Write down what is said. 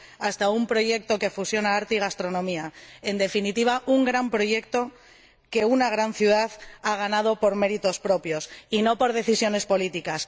hasta un proyecto que fusiona arte y gastronomía. En definitiva, un gran proyecto que ha hecho que esta gran ciudad haya ganado por méritos propios y no por decisiones políticas.